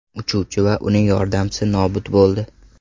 Uchuvchi va uning yordamchisi nobud bo‘ldi.